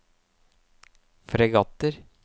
fregatter